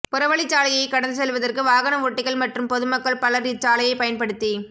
புறவழிச்சாலையை கடந்து செல்வதற்கு வாகன ஓட்டிகள் மற்றும் பொதுமக்கள் பலர் இச்சாலையை பயன்படுத்தி